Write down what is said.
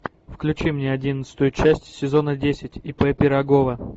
включи мне одиннадцатую часть сезона десять ип пирогова